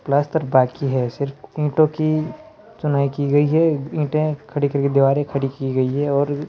plaster बाकी है सिर्फ ईंटों की चुनाई की गई है ईंटें खड़ी करके दीवारें खड़ी की गई है और --